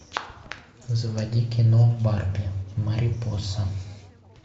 заводи кино барби марипоса